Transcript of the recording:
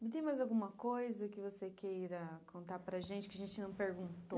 Não tem mais alguma coisa que você queira contar para a gente, que a gente não perguntou?